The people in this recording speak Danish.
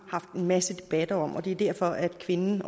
haft masser af debatter om og det er også derfor at kvinden